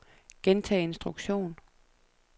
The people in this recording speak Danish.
gentag instruktion